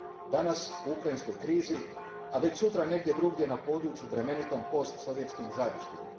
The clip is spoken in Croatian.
Danas u Ukrajinskoj krizi, a već sutra negdje drugdje na području bremenitom postsovjetskim žarištima.